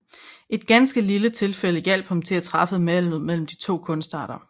Et ganske lille tilfælde hjalp ham til at træffe valget mellem de to kunstarter